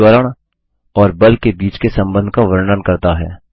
जोकि त्वरण और बल के बीच के सम्बन्ध का वर्णन करता है